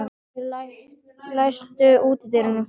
Ögri, læstu útidyrunum.